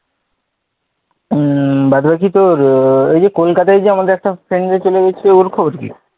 উম বাদ বাকি তোর ঐ যে কলকাতায় যে আমাদের একটা friend যে চলে গেছিলো ওর খবর কি,